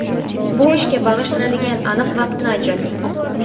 Bu ishga bag‘ishlanadigan aniq vaqtni ajrating.